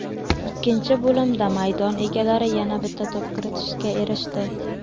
Ikkinchi bo‘limda maydon egalari yana bitta to‘p kiritishga erishdi.